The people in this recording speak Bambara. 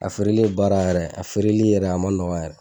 A feereli ye baara yɛrɛ ye a feereli yɛrɛ a ma nɔgɔn yɛrɛ